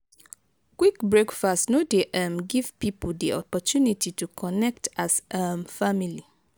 quick breakfast no dey um give pipo di opportunity to connect as um family